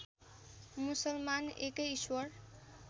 मुसलमान एकै ईश्वर